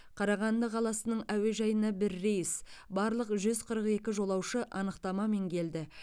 қарағанды қаласының әуежайына бір рейс барлық жүз қырық екі жолаушы анықтамамен келді